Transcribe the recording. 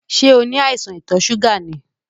Ṣẹ́ o ní àìsàn ìtò ṣúgà ni?